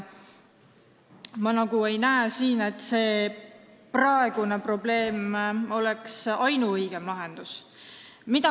Ma nagu ei näe, et see praegune oleks probleemi ainuõige lahendus.